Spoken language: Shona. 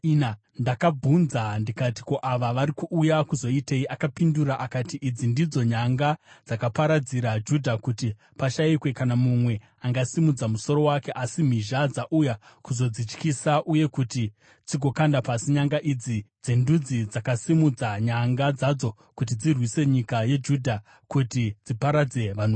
Ndakabvunza ndikati, “Ko, ava vari kuuya kuzoitei?” Akapindura akati, “Idzi ndidzo nyanga dzakaparadzira Judha kuti pashayikwe kana mumwe angasimudza musoro wake, asi mhizha dzauya kuzodzityisa uye kuti dzigokanda pasi nyanga idzi dzendudzi dzakasimudza nyanga dzadzo kuti dzirwise nyika yeJudha kuti dziparadzire vanhu vayo.”